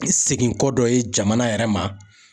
Segin kɔ dɔ ye jamana yɛrɛ ma.